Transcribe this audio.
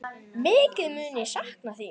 Mikið mun ég sakna þín.